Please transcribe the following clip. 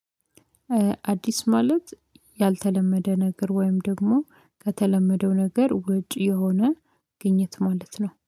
አዲስ ማለት ያልተለመደ ነገር ወይም ደግሞ ከተለመደው ነገር ውጭ የሆነ ግኝት ማለት ነው።